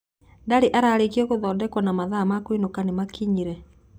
Ndarĩ ararĩkia gũthondekwo na mathaa ma kũinũka nĩ makinyire?